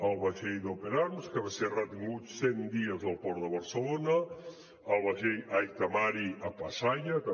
el vaixell d’open arms que va ser retingut cent dies al port de barcelona el vaixell aita mari a pasaia també